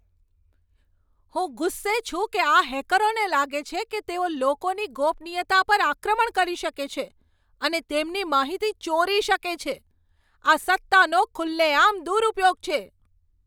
હું ગુસ્સે છું કે આ હેકરોને લાગે છે કે તેઓ લોકોની ગોપનીયતા પર આક્રમણ કરી શકે છે અને તેમની માહિતી ચોરી શકે છે. આ સત્તાનો ખુલ્લેઆમ દુરુપયોગ છે.